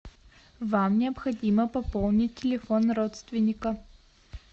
вам необходимо пополнить телефон родственника